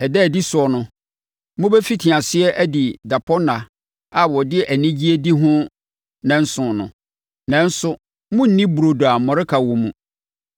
Ɛda a ɛdi so no, mobɛfiti aseɛ adi dapɔnna a wɔde anigyeɛ di no nnanson no, nanso, morenni burodo a mmɔreka wɔ mu.